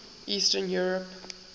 eastern europe